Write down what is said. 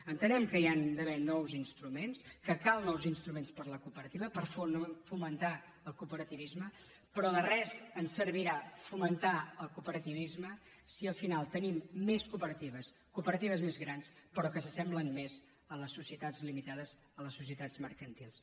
entenem que hi han d’haver nous instruments que cal nous instruments per a la cooperativa per fomentar el cooperativisme però de res ens servirà fomentar el cooperativisme si al final tenim més cooperatives cooperatives més grans però que s’assemblen més a les societats limitades a les societats mercantils